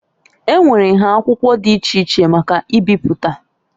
Enwere nha akwụkwọ dị iche iche maka ibipụta.